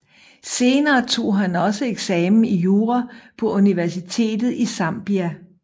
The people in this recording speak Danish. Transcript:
Senere tog han også eksamen i jura på Universitetet i Zambia